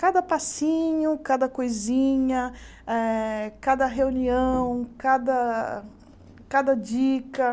Cada passinho, cada coisinha, eh cada reunião, cada cada dica.